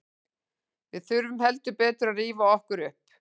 Við þurfum heldur betur að rífa okkur upp.